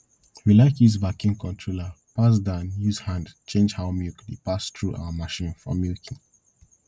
we like use vacuum controller pass dan use hand change how milk dey pass through our machine for milking